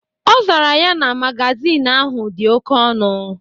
Ọ zara ya na magazin ahụ dị oke ọnụ.